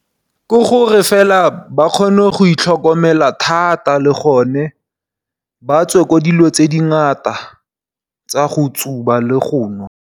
Ke gore fela ba kgone go itlhokomela thata le gore ba tswe mo dilo tse di ngata tsa go tsuba le go nwa.